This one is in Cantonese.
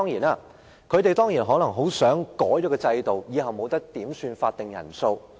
建制派當然很希望改變制度，令日後不准點算法定人數。